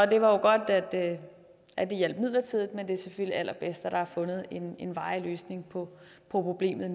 det var jo godt at det hjalp midlertidigt men det er selvfølgelig allerbedst at der nu er fundet en en varig løsning på problemet